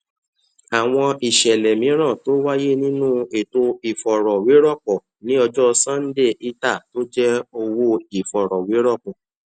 àmọ àwọn iṣẹ ìtọjú tó wà lórí um àwọn ọjà líle náà parí ní ìparí oṣù november um